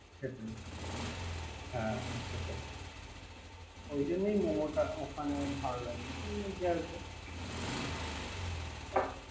হুম হ্যা সেটাই ওই জন্যই মোমোটা ওখান ভালো লাগে।